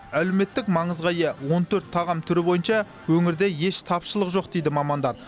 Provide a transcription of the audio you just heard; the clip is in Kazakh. әлеуметтік маңызға ие он төрт тағам түрі бойынша өңірде еш тапшылық жоқ дейді мамандар